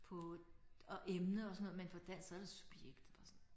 På og emne og sådan noget men på dansk så det subjekt bare sådan